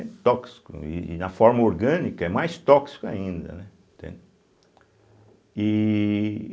É tóxico, e e na forma orgânica é mais tóxico ainda, né, entende. E